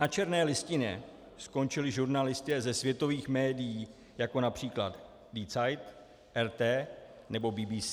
Na černé listině skončili žurnalisté ze světových médií, jako například Die Zeit, LT nebo BBC.